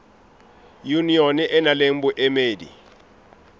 yunione e nang le boemedi